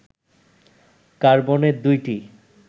কার্বনের দুইটি